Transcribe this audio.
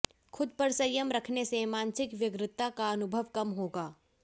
खुद पर संयम रखने से मानसिक व्यग्रता का अनुभव कम होगा